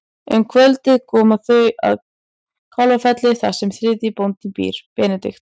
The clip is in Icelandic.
Um kvöldið koma þau að Kálfafelli þar sem þriðji bróðirinn býr, Benedikt.